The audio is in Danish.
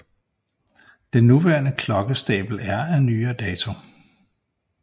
Den nuværende klokkestabel er af nyere dato